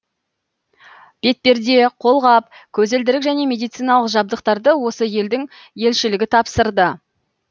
бетперде қолғап көзілдірік және медициналық жабдықтарды осы елдің елшілігі тапсырды